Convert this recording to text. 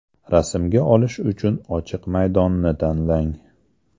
Rasmga olish uchun ochiq maydonni tanlang.